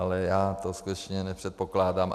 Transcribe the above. Ale já to skutečně nepředpokládám.